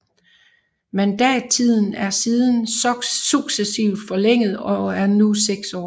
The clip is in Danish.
Mandattiden er siden successivt forlænget og er nu seks år